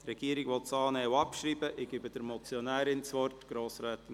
Die Regierung will diese Motion annehmen und abschreiben.